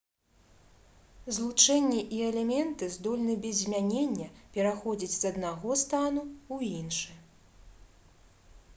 злучэнні і элементы здольны без змянення пераходзіць з аднаго стану ў іншы